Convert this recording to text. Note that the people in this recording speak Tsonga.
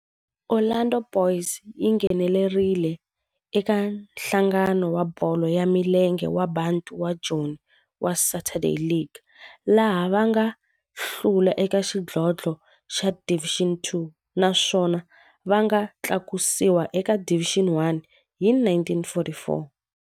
Orlando Boys yi nghenelerile eka Nhlangano wa Bolo ya Milenge wa Bantu wa Joni wa Saturday League, laha va nga hlula eka xidlodlo xa Division Two naswona va nga tlakusiwa eka Division One hi 1944.